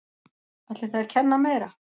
Ætlið þið að kenna meira?